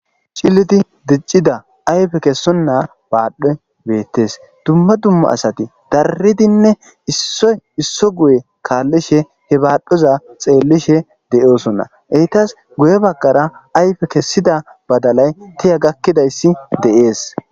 Cillilidi diccida ayffe kessona badhdho bettessi duma duma asati darridine issoy issa guyerra kalishe he badhdhoza xellishe de'ossona etasi guye baggara ayife kesida badalayi tiiya gakkidayis de'esi.